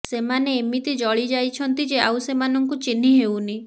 ସେମାନେ ଏମିତି ଜଳି ଯାଇଛନ୍ତି ଯେ ଆଉ ସେମାନଙ୍କୁ ଚିହ୍ନି ହେଉନି